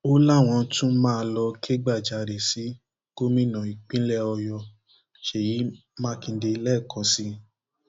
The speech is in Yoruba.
ó láwọn tún máa lọọ kẹgbàjarè sí gómìnà ìpínlẹ ọyọ ṣèyí mákindè lẹẹkan sí i